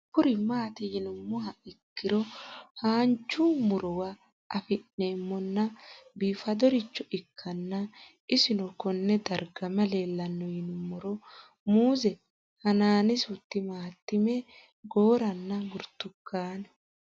Kuni mati yinumoha ikiro hanja murowa afine'mona bifadoricho ikana isino Kone darga mayi leelanno yinumaro muuze hanannisu timantime gooranna buurtukaane